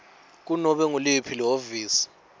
kunobe nguliphi lihhovisi